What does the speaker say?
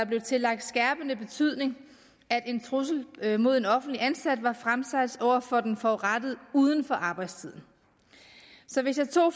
blev tillagt skærpende betydning at en trussel mod en offentligt ansat var fremsat over for den forurettede uden for arbejdstiden så hvis jeg tog